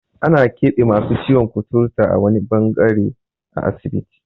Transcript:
Ana keɓe masu ciwon kuturta a wani ɓangare a asibiti.